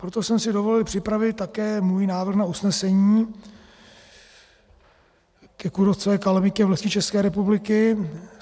Proto jsem si dovolil připravit také svůj návrh na usnesení ke kůrovcové kalamitě v lesích České republiky.